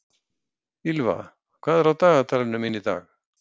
Ýlfa, hvað er á dagatalinu mínu í dag?